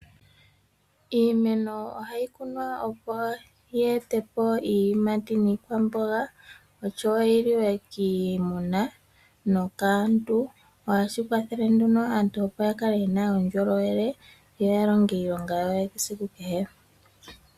Iimeno ohayi kunwa opo yi etepo iiyimati niikwamboga oshowo yi liwe kiimuna nokaantu. Ohashi kwathele wo opo aantu yakale yena uundjolowele yo ya longe iilonga yawo yesiku kehe.